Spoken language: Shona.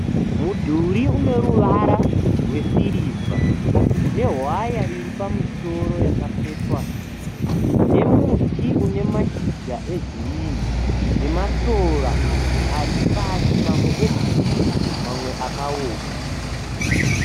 Mudhuri une ruvara rwesiriva nehwaya iri pamusoro yakapetwa nemuti une mashizha egirinhi nemasora aripasi mamwe egirinhi mamwe akaoma.